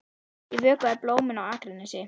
Ég vökvaði blómin á Akranesi.